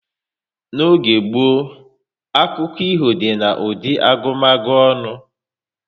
N'oge gboo, akụkọ ifo dị na ụdị agumagu onu